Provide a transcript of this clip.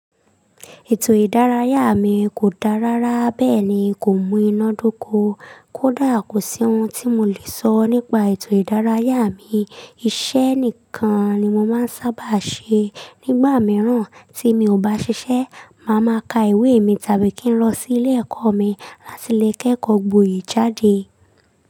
Ètò ìdárayá mi kò dá rárá bẹ́ẹ̀ ni kò mú iná dó ko. Kódà kò sí ohun tí mo lè sọ nípa ètò ìdárayá mi. Iṣẹ́ nìkan ni mo máa ń sábà ṣe. Nígbà mìíràn tí mi ò bá ṣiṣẹ́, màá ma ka ìwé mi tàbí kí n lọ sí ilé ẹ̀kọ́ mi láti lè kẹ́kọ̀ọ́ gboyè jáde.